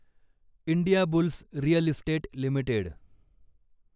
Indiabulls real estate limited